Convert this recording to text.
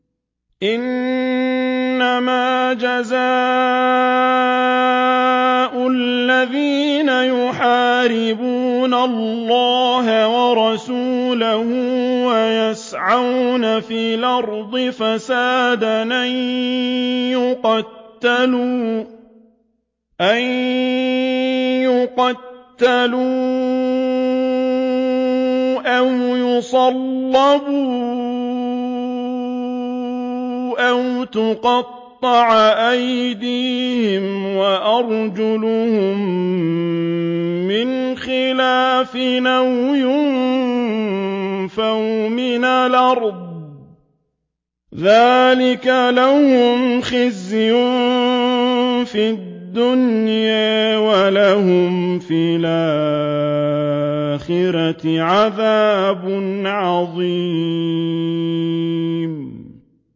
إِنَّمَا جَزَاءُ الَّذِينَ يُحَارِبُونَ اللَّهَ وَرَسُولَهُ وَيَسْعَوْنَ فِي الْأَرْضِ فَسَادًا أَن يُقَتَّلُوا أَوْ يُصَلَّبُوا أَوْ تُقَطَّعَ أَيْدِيهِمْ وَأَرْجُلُهُم مِّنْ خِلَافٍ أَوْ يُنفَوْا مِنَ الْأَرْضِ ۚ ذَٰلِكَ لَهُمْ خِزْيٌ فِي الدُّنْيَا ۖ وَلَهُمْ فِي الْآخِرَةِ عَذَابٌ عَظِيمٌ